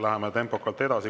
Läheme tempokalt edasi.